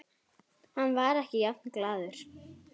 Hann var ekki jafn glaður.